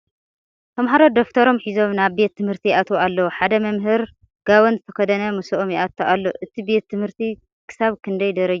ተምሃሮ ደፍተሮም ሒዞም ናብ ቤት ትምህርቲ ይኣትዉ ኣልዉ ሓደ መምህር ጋወን ዝተከደነ ምስኦም ይአቱ ኣሎ ። እቲ ቤት ትምህርቲ ክሳብ ክንደይ ደረጃ የምህር ?